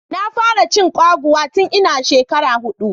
Na fara cin kwaguwa tun ina shekara hudu.